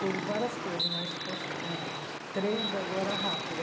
Tem várias coisas, mas posso me... Três agora, rápida.